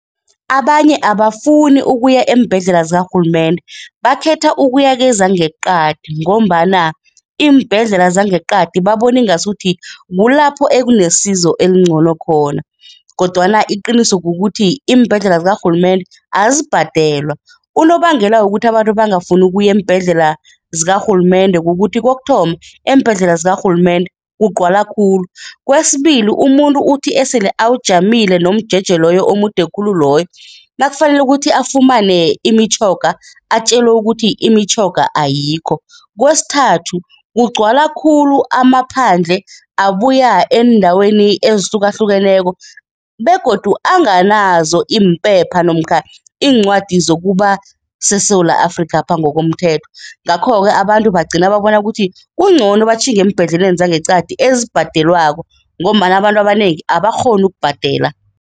Abanye abafuni ukuya eembhedlela zikarhulumende, bakhetha ukubuy kezangeqadi ngombana iimbhedlela zangeqadi babona ingasuthi kulapho ekunesizo elingcono khona kodwana iqiniso kukuthi iimbhedlela zikarhulumende azibhadelwa. Unobangela wokuthi abantu bangafuni ukuya eembhedlela zikarhulumende kukuthi kokuthoma, eembhedlela zikarhulumende kugcwala khulu. Kwesibili, umuntu uthi esele awujamile nomjeje loyo omude khulu loyo, nakufanele ukuthi afumane imitjhoga, atjelwe ukuthi imitjhoga ayikho. Kwesithathu, kugcwala khulu amaphandle abuya eendaweni ezihlukahlukeneko begodu anganazo iimpepha namkha iincwadi zokuba seSewula Afrikapha ngokomthetho, ngakho-ke abantu bagcina babona ukuthi kungcono batjhinge eembhedleleni zangeqadi ezibhadelwako ngombana abantu abanengi abakghoni ukubhadela.